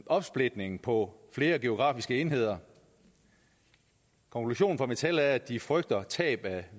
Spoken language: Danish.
opsplitningen på flere geografiske enheder konklusionen fra dansk metal er at de frygter tab af